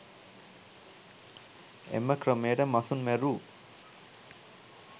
එම ක්‍රමයට මසුන් මැරූ